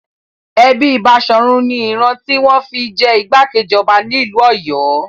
Ẹbí Baṣọ̀run ni ìran tí wọ́n fi ń jẹ ìgbákejì ọba nílùú Ọ̀yọ́.